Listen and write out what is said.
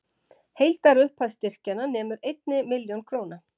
Heildarupphæð styrkjanna nemur einni milljón króna